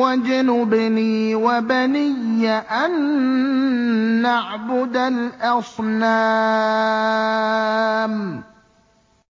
وَاجْنُبْنِي وَبَنِيَّ أَن نَّعْبُدَ الْأَصْنَامَ